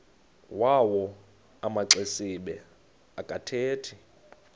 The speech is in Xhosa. yawo amaxesibe akathethi